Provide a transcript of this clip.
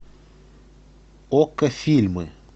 окко фильмы